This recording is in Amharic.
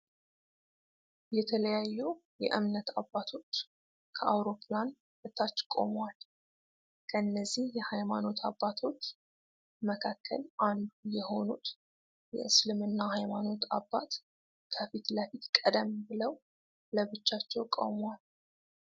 የተለያዩ እምነት አባቶች ከአውሮፕላን በታች ቆመዋል። ከነዚህ የሃይማኖት አባቶች መካከል አንዱ የሆኑት የእስልምና ሃይማኖት አባት ከፊት ለፊት ቀደም ብለው ለብቻቸው ቆመዋል።